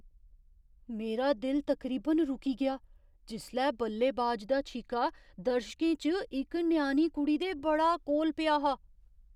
मेरा दिल तकरीबन रुकी गेआ जिसलै बल्लेबाज दा छीका दर्शकें च इक ञ्याणी कुड़ी दे बड़ा कोल पेआ हा।